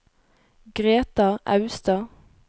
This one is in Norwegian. Greta Austad